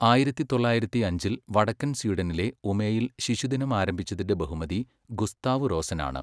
ആയിരത്തി തൊള്ളായിരത്തിയഞ്ചില് വടക്കൻ സ്വീഡനിലെ ഉമേയിൽ ശിശുദിനം ആരംഭിച്ചതിന്റെ ബഹുമതി ഗുസ്താവ് റോസനാണ്.